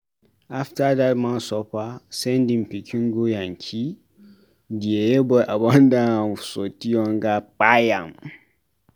After dat man suffer send im pikin go Yankee, di yeye boy abandon am sotee hunger kpai am.